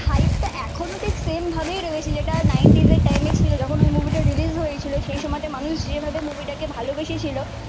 hype টা ঠিক same ভাবেই রয়েছে যেটা নাইনটিজ এর টাইম এ ছিল যখন ওই মুভি তা রিলিজ হয়ে ছিল সে সময়ে তে মানুষ যে ভাবে মুভি তাকে ভালো বেশে ছিল